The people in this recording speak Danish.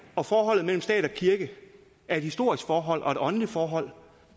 og forholdet mellem stat og kirke er et historisk forhold og et åndeligt forhold